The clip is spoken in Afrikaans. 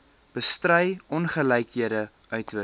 bestry ongelykhede uitwis